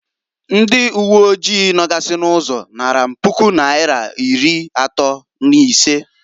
Ndị uwe oji nogasị n'ụzọ naara m Puku naira iri atọọ n'isee.